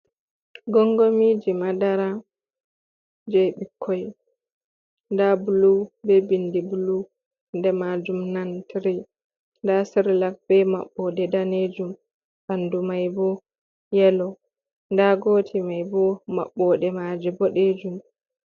Gongomiji madara je ɓikkoi nda bulu be bindi bulu, nder majum nan 3ri, nda sirlak be maɓɓode ɗanejum ɓanɗu mai bo yelo, nda gotel mai bo maɓɓoɗe maje boɗejum.